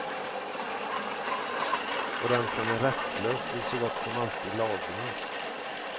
Och den som är rättslös blir så gott som alltid laglös.